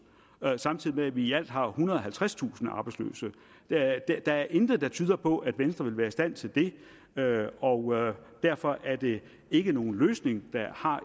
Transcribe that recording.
samtidig med at vi i alt har ethundrede og halvtredstusind arbejdsløse der er intet der tyder på at venstre vil være i stand til det og derfor er det ikke nogen løsning der har